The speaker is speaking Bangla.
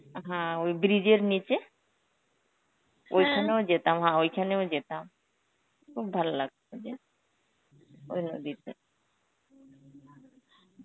হ্যাঁ ওই bridge এর নিচে, ওইখানেও যেতাম, হা ওইখানেও যেতাম. খুব ভালো লাগতো যে ওই নদীতে.